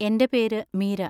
എന്റെ പേര് മീര.